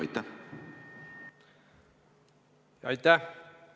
Aitäh!